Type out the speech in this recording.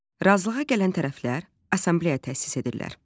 Razılığa gələn tərəflər assambleya təsis edirlər.